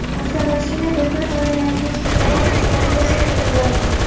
Avtomashina do‘kon oynalarini sindirib, ichkarigacha kirib borgan.